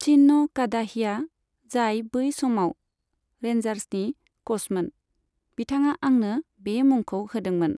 चिन' कादाहिया, जाय बै समाव रेन्जार्सनि क'चमोन, बिथाङा आंनो बे मुंखौ होदोंमोन।